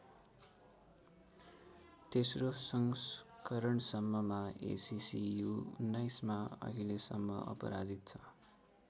तेस्रो संस्करणसम्ममा ACC U १९ मा अहिलेसम्म अपराजित छ।